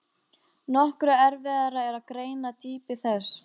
Nokkru erfiðara er að greina dýpi þess.